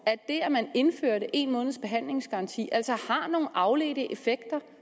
at det at man indførte en måneds behandlingsgaranti altså har nogle afledte effekter